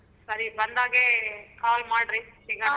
ಸರಿ ಬಂದಾಗೆ call ಮಾಡ್ರಿ ಈಗ.